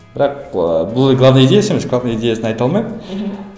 бірақ ы бұл главный идеясы емес главный идеясын айта алмаймын мхм